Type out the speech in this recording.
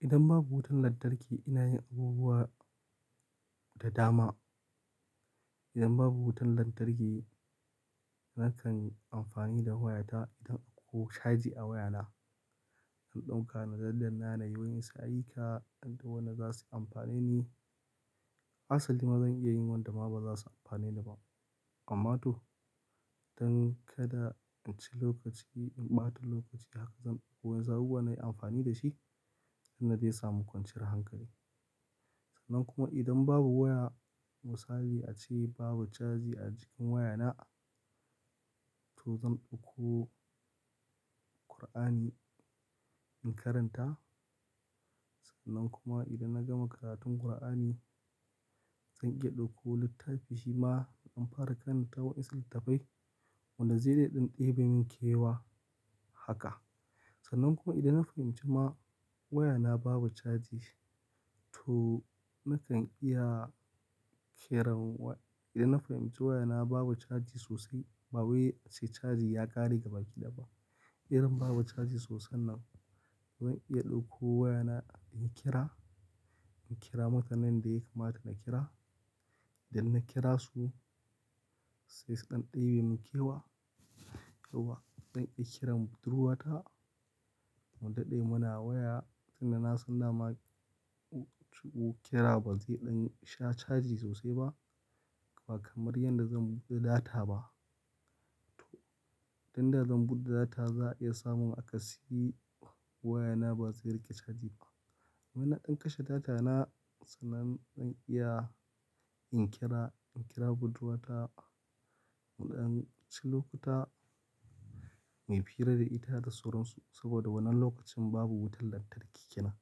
Idan babu wutar lantarki ina yin abubuwa da dama. Idan babu wutar lantarki nakan amfani da wayata idan akwai caji a wayana. Zan ɗauka na daddanna na yi wa'yansu ayyuka, waɗanda za su amfane ni. Asali ma zan iya yin wanda ma ba za su amfane ni ba. Amma to, don kada in ci lokaci, in ɓata lokaci haka zan ɗauko wasu abubuwa nayi amfani da shi, wanda zai sa min kwanciyar hankali. Sannan kuma idan babu waya, misali ace babu caji a cikin wayana, to zan ɗauko Kur'ani in karanta. Sannan kuma idan na gama karatun Qur'ani, zan iya ɗauko littafi shi ma in fara karanta wa'yansu littattafai. Wanda zai iya ɗan ɗebe min kewa haka. Sannan kuma idan na fahimci ma wayana babu caji, to nakan iya kera wa-- idan na fahimci wayana babu caji sosai, ma wai sai caji ya ƙare gaba kiɗaya ba. Idan babu caji sosai nan, zan iya ɗauko wayana inyi kira, in kira mutanen da ya kamata na kira. Idan na kira su, sai su ɗan ɗebe min kewa. Yauwa zan iya kiran budurwata. Mu daɗe muna waya, tin da na san dama shi kira ba zai sha caji sosai ba, ba kamar yadda zan buɗe data ba. To, idan da zan buɗe data za a iya samun aka siyi wayana ba zai riƙe caji ba. Amma inna ɗan kashe data na, sannan zan iya in kira, in kira budurwata. Na ɗan ci lokuta mai fiira da ita da suransu. Saboda wannan lokacin babu wutar lantarki kenan.